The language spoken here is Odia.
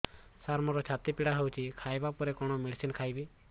ସାର ମୋର ଛାତି ପୀଡା ହଉଚି ଖାଇବା ପରେ କଣ ମେଡିସିନ ଖାଇବି